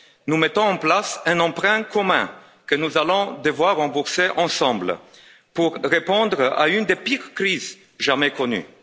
nous mettons en place un emprunt commun, que nous allons devoir rembourser ensemble, pour répondre à une des pires crises jamais connues.